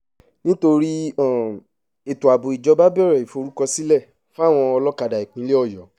nítorí um ètò ààbò ìjọba bẹ̀rẹ̀ ìforúkọsílẹ̀ fáwọn olókádá ìpínlẹ̀ ọ̀yọ́